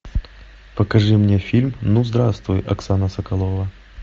покажи мне фильм ну здравствуй оксана соколова